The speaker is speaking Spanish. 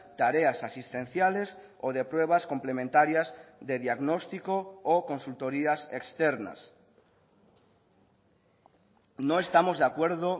tareas asistenciales o de pruebas complementarias de diagnóstico o consultorías externas no estamos de acuerdo